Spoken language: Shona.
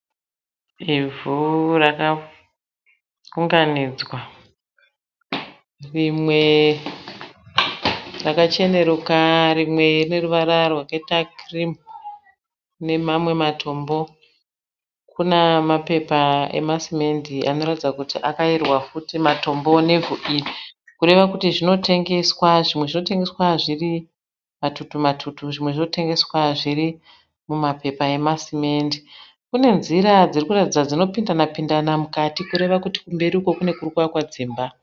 Ivhu rakaunganidzwa rimwe rakachenekuka rimwe rine ruvara rwakaita kirimu nemamwe matombo kune mapepa emasimende anotaridza kuti akaerwa futi matombo nevhu iri. Kureva kuti zvinotengeswa, zvimwe zvinotengeswa zviri matutu matutu zvimwe zvinotengeswa zviri mumapepa emasimende. Kune nzira dziri kuratidza kuti dzinopindana pindana mukati kureva kuti kumberi uko kune kuri kuvakwa dzimba.